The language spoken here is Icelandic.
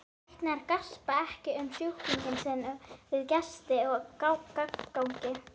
Læknar gaspra ekki um sjúklinga sína við gesti og gangandi.